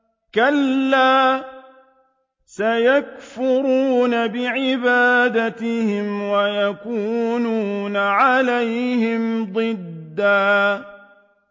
كَلَّا ۚ سَيَكْفُرُونَ بِعِبَادَتِهِمْ وَيَكُونُونَ عَلَيْهِمْ ضِدًّا